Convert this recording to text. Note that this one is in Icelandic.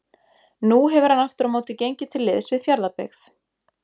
Nú hefur hann aftur á móti gengið til liðs við Fjarðabyggð.